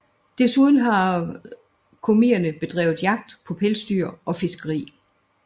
Desuden har komierne bedrevet jagt på pelsdyr og fiskeri